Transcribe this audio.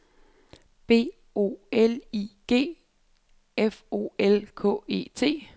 B O L I G F O L K E T